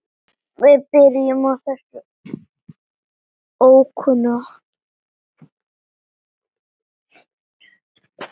Við byrjum á þessum ókunna.